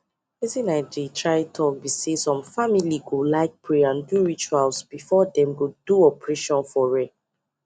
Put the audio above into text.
wetin i dey try talk be saysome family go like pray and do rituals before them go do operation for re